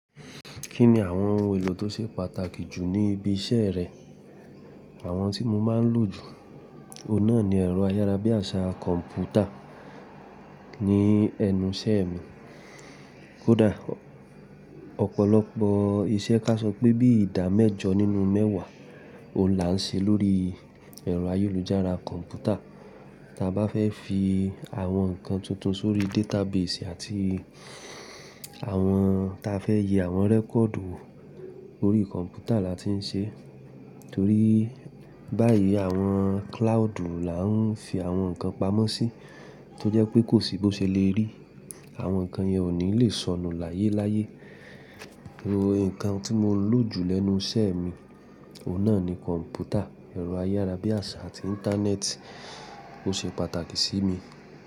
Kí ni àwọn ohun èlò tó ṣe pàtàkì jù ní ibi iṣẹ́ rẹ? Àwọn tí mo máa ń lò jù, òun náà ni ẹ̀rọ ayárabíàṣá kọ̀m̀pútà ní ẹnu ìṣẹ́ mi. Kódà ọ̀pọ̀lọpọ̀ iṣẹ́ káṣọ pé bí i ìdá mẹ́jọ nínú mẹ́wàá, òun là ń ṣe lórí ẹ̀rọ ayélujára kọ̀m̀pútà. Ta bá fẹ́ fi àwọn nǹkan tuntun sórí database àti àwọn tí a fẹ́ yẹ àwọn rẹ́kọ̀ọ̀dù wo, órí kọ̀m̀pútà là tí ń ṣe, torí báyìí àwọn cloud là ń fi àwọn nǹkan pamọ́ sí tó jẹ́ pé kò sí bó ṣe le rí. Àwọn nǹkan yẹn ò ní le sọnù láyé láyé. Ẹ̀rọ nǹkan tí mo ń lò jù lẹ́nu ìṣe mi, òun náà ni kọ̀m̀pútà, ẹ̀rọ ayárabíàṣá àti Íńtánẹ́ẹ̀tì ló ṣe pàtàkì sí mi.